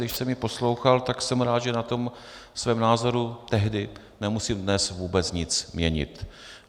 Když jsem ji poslouchal, tak jsem rád, že na tom svém názoru tehdy nemusím dnes vůbec nic měnit.